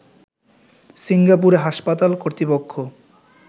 সিঙ্গাপুরে হাসপাতাল কর্তৃপক্ষ